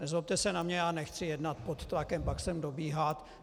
Nezlobte se na mě, já nechci jednat pod tlakem, pak sem dobíhat.